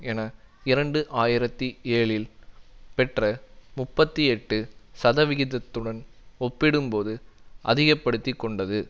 என இரண்டு ஆயிரத்தி ஏழில் பெற்ற முப்பத்தி எட்டு சதவிகிதத்துடன் ஒப்பிடும்போது அதிகப்படுத்திக்கொண்டது